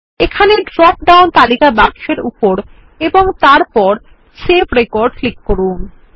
এখানে drop down তালিকা বাক্স এর উপর এবং তারপর সেভ রেকর্ড ক্লিক করুন